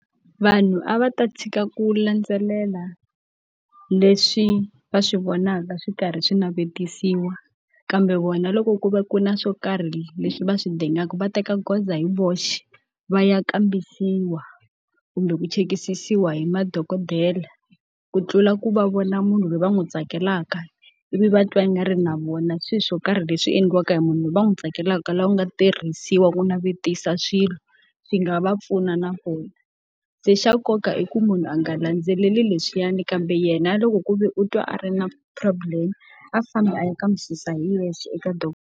Vanhu a va ta tshika ku landzelela leswi va swi vonaka swi karhi swi navetisiwa kambe vona loko ku ve ku na swo karhi leswi va swi dingaka va teka goza hi voxe, va ya kambisisiwa kumbe ku chekisisiwa hi madokodela. Ku tlula ku va vona munhu loyi va n'wi tsakelaka ivi va twa ingari na vona swilo swo karhi leswi endliwaka hi munhu loyi va n'wi tsakelaka laha ku nga tirhisiwa ku navetisa swilo, swi nga va pfuna na vona. Se xa nkoka i ku munhu a nga landzeleli leswiyani kambe yena a loko ku ve u twa a ri na problem a famba a ya kambisisa hi yexe eka .